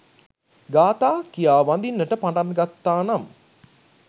ගාථා කියා වඳින්නට පටන්ගත්තා නම්